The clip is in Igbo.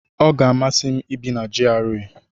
Ọ ga-amasị m ibi na GRA.